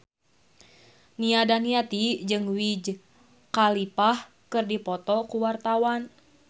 Nia Daniati jeung Wiz Khalifa keur dipoto ku wartawan